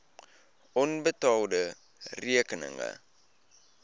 onbetaalde rekeninge